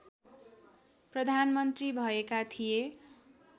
प्रधानमन्त्री भएका थिए